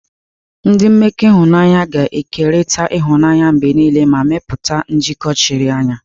Ndị mmekọ ịhụnanya ga na-ekerịta ịhụnanya mgbe niile ma mepụta njikọ chiri anya.